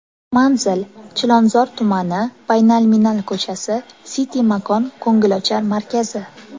Manzil: Chilonzor tumani, Baynalminal ko‘chasi, City makon ko‘ngilochar markazi.